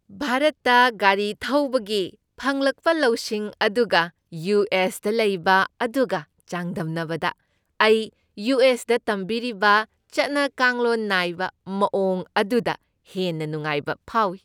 ꯚꯥꯔꯠꯇ ꯒꯥꯔꯤ ꯊꯧꯕꯒꯤ ꯐꯪꯂꯛꯄ ꯂꯧꯁꯤꯡ ꯑꯗꯨꯒ ꯌꯨ. ꯑꯦꯁ. ꯗ ꯂꯩꯕ ꯑꯗꯨꯒ ꯆꯥꯡꯗꯝꯅꯕꯗ, ꯑꯩ ꯌꯨ. ꯑꯦꯁ. ꯗ ꯇꯝꯕꯤꯔꯤꯕ ꯆꯠꯅꯀꯥꯡꯂꯣꯟ ꯅꯥꯏꯕ ꯃꯥꯋꯣꯡ ꯑꯗꯨꯗ ꯍꯦꯟꯅ ꯅꯨꯡꯉꯥꯏꯕ ꯐꯥꯎꯏ ꯫